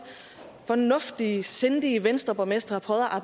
fornuftige sindige venstreborgmestre har